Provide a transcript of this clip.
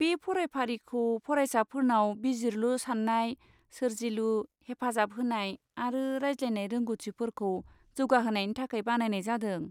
बे फरायफारिखौ फरायसाफोरनाव बिजिरलु साननाय, सोरजिलु, हेफाजाब होनाय आरो रायज्लायनाय रोंग'थिफोरखौ जौगाहोनायनि थाखाय बानायनाय जादों।